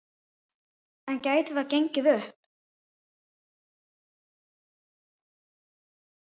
En gæti það gengið upp?